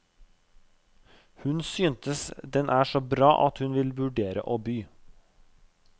Hun synes den er så bra at hun vil vurdere å by.